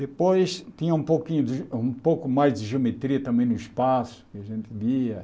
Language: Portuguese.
Depois tinha um pouquinho de um pouco mais de geometria também no espaço, que a gente via.